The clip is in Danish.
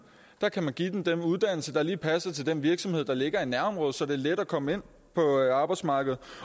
kan give dem den uddannelse der lige passer til den virksomhed der ligger i nærområdet så det er let at komme ind på arbejdsmarkedet